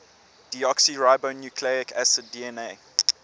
deoxyribonucleic acid dna